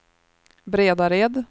Bredared